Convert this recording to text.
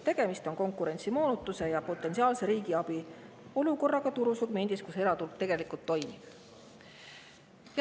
Tegemist on konkurentsimoonutuse ja potentsiaalse riigiabi olukorraga turusegmendis, kus eraturg tegelikult toimib.